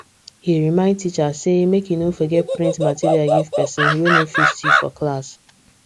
he remind teacher say make e no forget print material give person wey no fit see for class